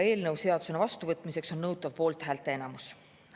Eelnõu seadusena vastuvõtmiseks on nõutav poolthäälte enamus.